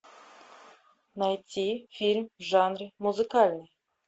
найти фильм в жанре музыкальный